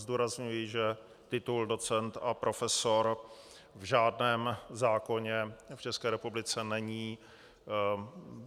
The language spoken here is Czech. Zdůrazňuji, že titul docent a profesor v žádném zákoně v České republice není.